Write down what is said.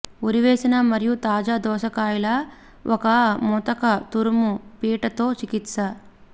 ఊరవేసిన మరియు తాజా దోసకాయలు ఒక ముతక తురుము పీట తో చికిత్స